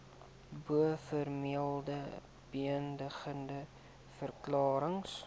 bovermelde beëdigde verklarings